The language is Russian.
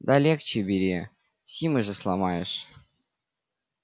да легче бери симы же сломаешь